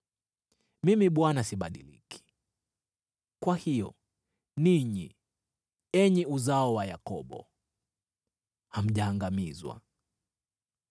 “Mimi Bwana sibadiliki. Kwa hiyo ninyi, enyi uzao wa Yakobo, hamjaangamizwa.